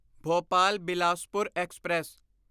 Bhopal Bilaspur express